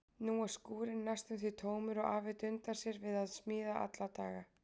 Nú er skúrinn næstum því tómur og afi dundar sér við að smíða alla daga.